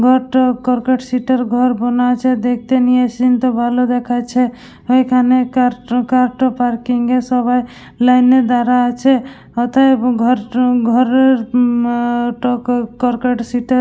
ঘরটা কর্কর সিটের ঘর বোনা আছে। দেখতে নিয়ে সিনটা ভালো দেখাচ্ছে। এখানে car to car to parking এর সবাই লাইনে দাঁড়ায় আছে। অতএব ঘর তো ঘরের উম কর্কট সিটের --